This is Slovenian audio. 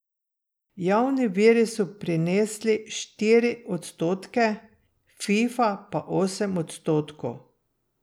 Javni viri so prinesli štiri odstotke, Fifa pa osem odstotkov.